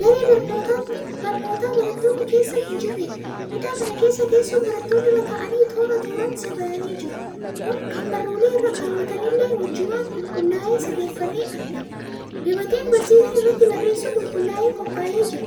Daree barnootaa barattoonni keessa hin jirredha. Kutaa kana keessa teessoon barattoonni irra taa'an toora tooran sirraa'anii jiru. Kan baruullee irra kaawwatanillee wajjumaan qulqullaa'ee sirreeffamee argama. Gabateen barsiisan irratti barreessu qulqullaa'ee qophaa'ee jira.